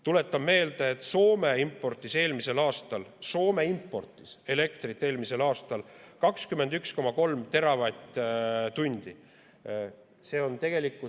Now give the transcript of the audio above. Tuletan meelde, et Soome importis eelmisel aastal 21,3 teravatt-tundi elektrit.